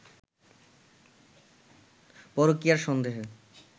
পরকীয়ার সন্দেহে